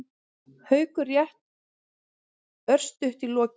Haukur: Rétt örstutt í lokin.